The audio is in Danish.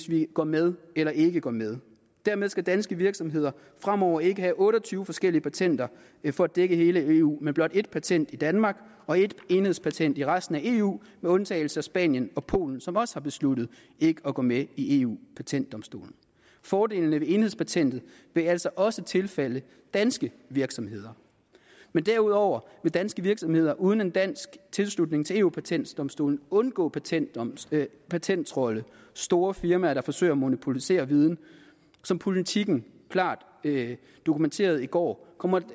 vi går med eller ikke går med dermed skal danske virksomheder fremover ikke have otte og tyve forskellige patenter for at dække hele eu men blot ét patent i danmark og et enhedspatent i resten af eu med undtagelse af spanien og polen som også har besluttet ikke at gå med i eu patentdomstolen fordelene ved enhedspatentet vil altså også tilfalde danske virksomheder men derudover vil danske virksomheder uden en dansk tilslutning til eu patentdomstolen undgå patenttrolde patenttrolde store firmaer der forsøger at monopolisere viden som politiken klart dokumenterede i går kommer